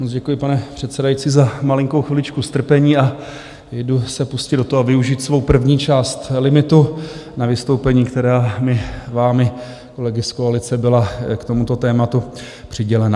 Moc děkuji, pane předsedající, za malinkou chviličku strpení a jdu se pustit do toho a využít svou první část limitu na vystoupení, která mi vámi, kolegy z koalice, byla k tomuto tématu přidělena.